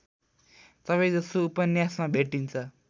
सबैजसो उपन्यासमा भेटिन्छ